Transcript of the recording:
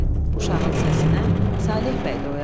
Uşağın səsinə Saleh bəy də oyandı.